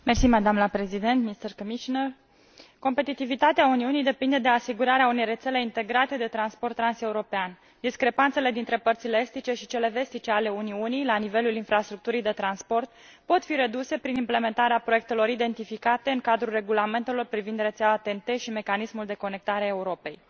Mulțumesc, doamnă președintă. Competitivitatea Uniunii depinde de asigurarea unei rețele integrate de transport transeuropean. Discrepanțele dintre părțile estice și cele vestice ale Uniunii la nivelul infrastructurii de transport pot fi reduse prin implementarea proiectelor identificate în cadrul regulamentelor privind rețeaua TEN T și mecanismul Conectarea Europei.